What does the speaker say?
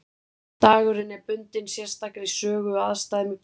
Dagurinn er bundinn sérstakri sögu og aðstæðum í Bandaríkjunum.